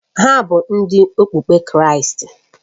Ha bụ Ndị okpukpe Kraịst